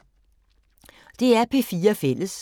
DR P4 Fælles